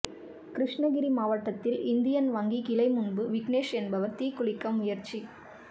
கிருஷ்ணகிரி மாவட்டத்தில் இந்தியன் வங்கி கிளை முன்பு விக்னேஷ் என்பவர் தீக்குளிக்க முயற்சி